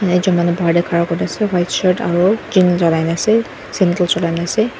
taijon manu bahar te khara kori kena ase white shirt aru lagai kena ase ase.